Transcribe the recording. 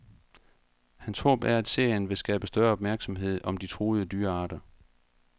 Hans håb er, at serien vil skabe større opmærksomhed om de truede dyrearter.